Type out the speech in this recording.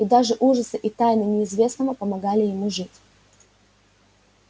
и даже ужасы и тайны неизвестного помогали ему жить